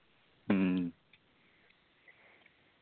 മ്മ്